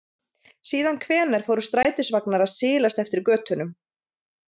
Síðan hvenær fóru strætisvagnar að silast eftir götunum?